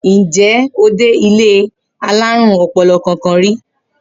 Ǹjé̩ o ti dé ilé alárùn o̩po̩lo̩ kankan ri?